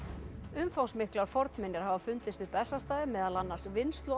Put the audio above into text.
umfangsmiklar fornminjar hafa fundist við Bessastaði meðal annars